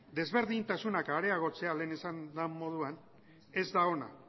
desberdintasuna areagotzea lehen esan den moduan ez da ona